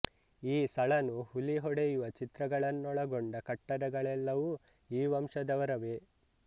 ಈ ಸಳನು ಹುಲಿ ಹೊಡೆಯುವ ಚಿತ್ರಗಳನ್ನೊಳಗೊಂಡ ಕಟ್ಟಡಗಳೆಲ್ಲವೂ ಈ ವಂಶದವರವೇ